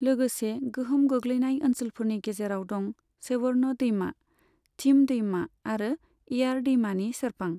लोगोसे गोहोम गोग्लैनाय ओनसोलफोरनि गेजेराव दं सेवर्न दैमा, थिम दैमा आरो एयार दैमानि सेरफां।